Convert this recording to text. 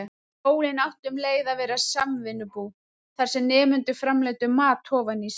Skólinn átti um leið að vera samvinnubú, þar sem nemendur framleiddu mat ofan í sig.